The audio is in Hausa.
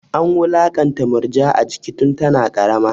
An wulakanta Murja a jiki tun tana ƙarama.